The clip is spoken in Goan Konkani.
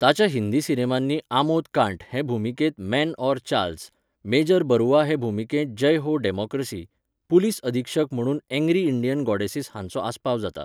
ताच्या हिंदी सिनेमांनी आमोद कांट हे भुमिकेंत मेन और चार्ल्स, मेजर बरुआ हे भुमिकेंत जय हो डॅमॉक्रसी, पुलीस अधीक्षक म्हणून एंग्री इंडियन गॉडेसेस हांचो आस्पाव जाता.